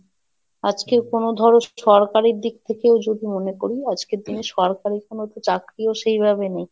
আজকে কোনো ধরো সরকারের দিক থেকেও যদি মনে করি আজকের দিনে সরকারি কোনো চাকরিও সেইভাবে নেই।